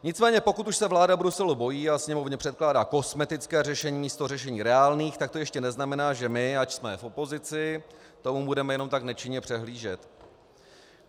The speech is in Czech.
Nicméně pokud už se vláda Bruselu bojí a Sněmovně předkládá kosmetická řešení místo řešení reálných, tak to ještě neznamená, že my, ač jsme v opozici, tomu budeme jenom tak nečinně přihlížet.